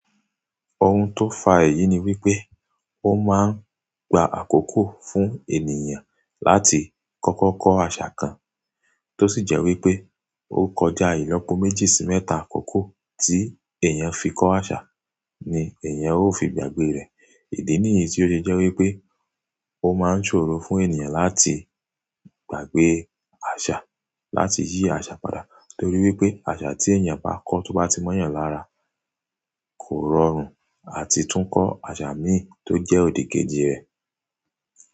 Ohun tó fa èyí ni wípé ó máa ń gba àkókò fún ènìyàn láti kọ́kọ́ kọ́ àṣà kan, tó sì jẹ́ wípé ó kọjá ìlọ́po méjì sí mẹ́ta àkókò tí èèyàn fi kọ́ àṣà ni èèyàn ó fi gbàgbé rẹ̀. Ìdí nìyí tí ó ṣe jẹ́ wípé ó máa ń ṣòro fún ènìyàn láti gbàgbé àṣà, láti yí àṣà padà torí wípé àṣà tí èèyàn bá kọ́ tó bá ti mọ́ yàn lára kò rọrùn àti tún kọ́ àṣà míì tó jẹ́ òdìkejì rẹ̀